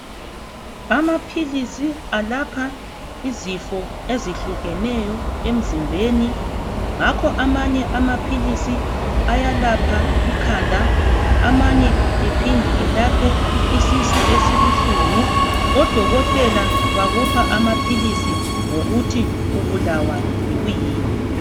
Amaphilisi alapha izifo ezihlukeneyo emzimbeni ngakho abanye amaphilisi ayalapha ikhanda amanye aphinde alaphe isisu esibuhlungu odokotela bakupha amaphilisi ngokuthi ubulawa yikuyini.